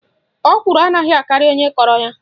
Ọkwụrụ anaghị akarị onye kọrọ ya.